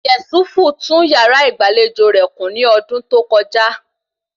Yésúfù tún yàrá ìgbàlejò rẹ̀ kùn ní ọdún tó kọjá